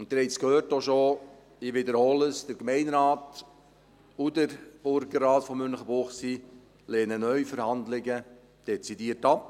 Sie haben es bereits gehört, und ich wiederhole es: Der Gemeinderat und der Burgerrat von Münchenbuchsee lehnen Neuverhandlungen dezidiert ab.